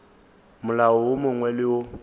molao wo mongwe le wo